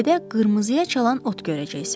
Təpədə qırmızıya çalan ot görəcəksən.